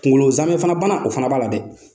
Kunkolo zamɛ fana bana o fana b'a la dɛ!